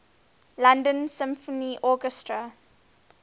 london symphony orchestra